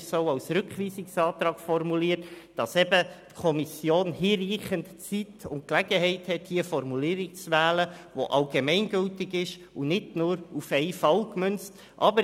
Deshalb ist der Antrag auch als Rückweisungsantrag formuliert, denn die Kommission soll hinreichend Zeit und Gelegenheit haben, eine Formulierung zu wählen, die allgemeingültig und nicht nur auf einen Fall gemünzt ist.